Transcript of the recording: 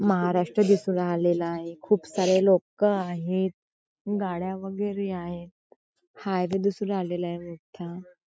महाराष्ट्र दिसू राहिलेला आहे खूप सारे लोक आहेत गाड्या वगैरे आहेत हायवे दिसू लागलेला रोडचा --